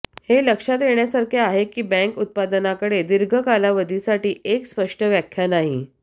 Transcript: हे लक्षात येण्यासारखे आहे की बँक उत्पादनाकडे दीर्घ कालावधीसाठी एक स्पष्ट व्याख्या नाही